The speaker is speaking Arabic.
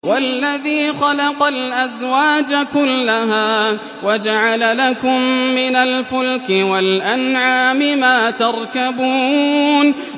وَالَّذِي خَلَقَ الْأَزْوَاجَ كُلَّهَا وَجَعَلَ لَكُم مِّنَ الْفُلْكِ وَالْأَنْعَامِ مَا تَرْكَبُونَ